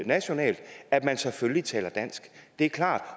nationalt at man selvfølgelig taler dansk det er klart